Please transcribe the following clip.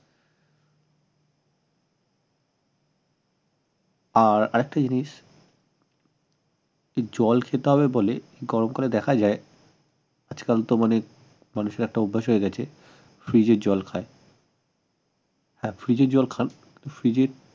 আর আরেকটা জিনিস জল খেতে হবে বলে গরম কালে দেখা যায় আজকালতো মানে মানুষের একটা অভ্যাস হয়ে গেছে ফ্রিজের জল খায় হ্যাঁ ফ্রিজের জল খান ফ্রিজের